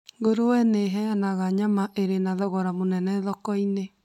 Ngũrwe nĩiheanaga nyama irĩ na thogora mũnene thoko-inĩ